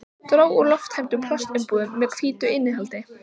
Dró út lofttæmdar plastumbúðir með hvítu innihaldi.